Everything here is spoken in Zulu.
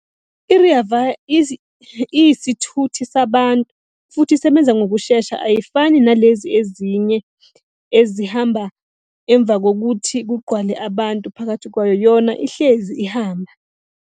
I-Rea Vaya iyisithuthi sabantu futhi isebenza ngokushesha ayifani nalezi ezinye ezihamba emva kokuthi kugqwale abantu phakathi kwayo, yona ihlezi ihamba.